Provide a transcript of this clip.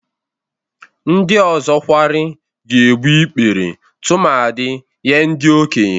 Ndị ọzọ kwarị ga-egbu ikpere tumadị Nye ndị okenye.